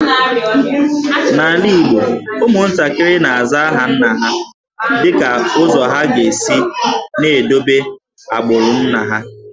N’ala Igbo, ụmụntakịrị na-aza aha nna ha dịka ụzọ ha ga-esi na-edobe agbụrụ nna ha